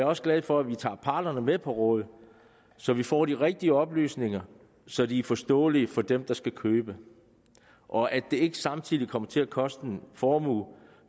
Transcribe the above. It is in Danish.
også glad for at vi tager parterne med på råd så vi får de rigtige oplysninger så de er forståelige for dem der skal købe og at det ikke samtidig kommer til at koste en formue